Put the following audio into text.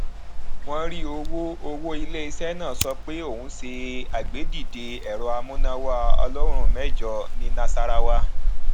wọn rí owó owó ilé iṣé náà sọ pé òun ṣe àgbédìde èrọ amúnáwá ọlọrùn méjọ ní nasarawa